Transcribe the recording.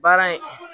Baara in